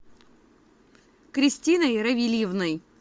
кристиной равильевной